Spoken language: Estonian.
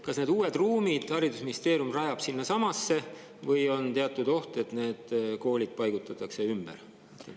Kas need uued ruumid rajab haridusministeerium sinnasamasse või on oht, et need koolid paigutatakse ümber?